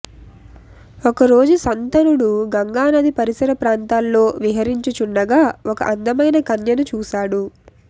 ఒకరోజు శంతనుడు గంగా నదీ పరిసర ప్రాంతాల్లో విహరించుచుండగా ఒక అందమైన కన్యను చూశాడు